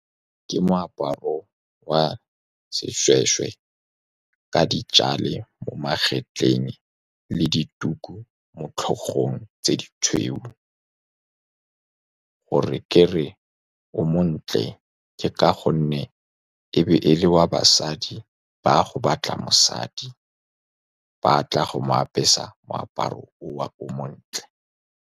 Ke moaparo wa seshweshwe ka mo magetleng le dituku mo tlhogong tse ditshweu. Go re ke re o montle ke ka gonne e be e le wa basadi ba go batla mosadi, ba tla go mo apesa moaparo oo o montle.